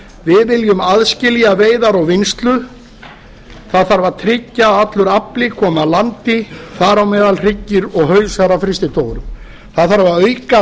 við viljum aðskilja veiðar og vinnslu það þarf að tryggja að allur afli komi að landi þar á meðal hryggir og hausar af frystitogurum það þarf að auka